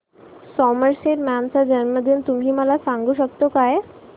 Somerset Maugham चा जन्मदिन तुम्ही मला सांगू शकता काय